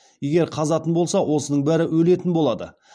егер қазатын болса осының бәрі өлетін болады